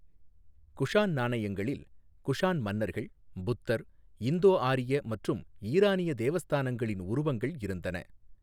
குஷான் நாணயங்களில் குஷான் மன்னர்கள், புத்தர், இந்தோ ஆரிய மற்றும் ஈரானிய தேவஸ்தானங்களின் உருவங்கள் இருந்தன.